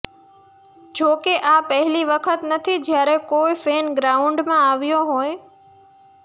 જોકે આ પહેલી વખત નથી જ્યારે કોઇ ફેન ગ્રાઉન્ડમાં આવ્યો હોય